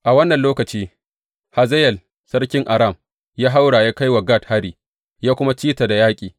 A wannan lokaci, Hazayel sarkin Aram ya haura, ya kai wa Gat hari, ya kuma ci ta da yaƙi.